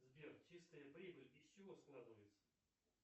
сбер чистая прибыль из чего складывается